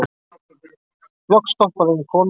Loks stoppaði ein kona.